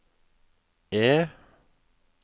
E